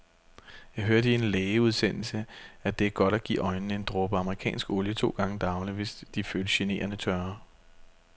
Jeg hørte i en lægeudsendelse, at det er godt at give øjnene en dråbe amerikansk olie to gange daglig, hvis de føles generende tørre.